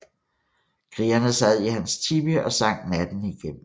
Krigerne sad i hans tipi og sang natten igennem